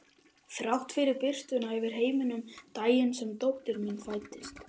Þrátt fyrir birtuna yfir heiminum daginn sem dóttir mín fæddist.